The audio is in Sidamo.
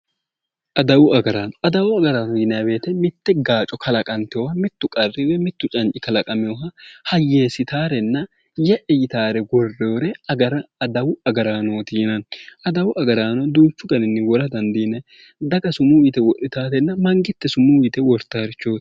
Adawu agaraano adawu agaraano yinayi woyiite mitte gaaco kalaqanteyoowa mittu qarri woy mittu canci kalaqameyoowa hayeessitaarenna ye'e yitaare worroyiire adawu agaraanooti yinayi adawu agaraano duuchu daninni wora dandiinanni daga sumuu yie wortareenna mangiste wortareeti